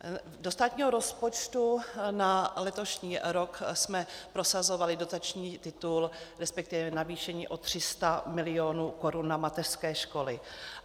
Do státního rozpočtu na letošní rok jsme prosazovali dotační titul, respektive navýšení o 300 milionů korun na mateřské školy.